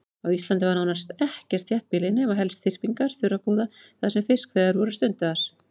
Á Íslandi var nánast ekkert þéttbýli nema helst þyrpingar þurrabúða þar sem fiskveiðar voru stundaðar.